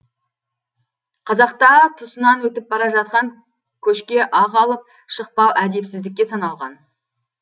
қазақта тұсынан өтіп бара жатқан көшке ақ алып шықпау әдепсіздікке саналған